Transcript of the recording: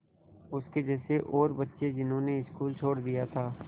उसके जैसे और बच्चे जिन्होंने स्कूल छोड़ दिया था